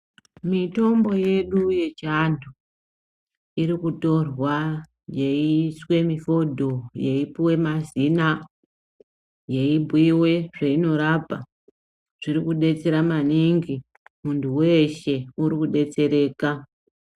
Mitombo yedu yechiantu irikutorwa yeiswe mifodho yeyi puwe mazina yeibhuiwe zvainorapa zvirikudetsera maningi muntu weshe urikudetsereka